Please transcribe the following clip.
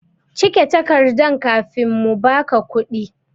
Cike takardan kafin mu ba ka kuɗi!